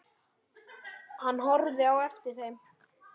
Hann horfði á eftir þeim.